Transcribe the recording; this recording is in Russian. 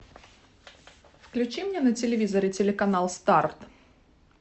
включи мне на телевизоре телеканал старт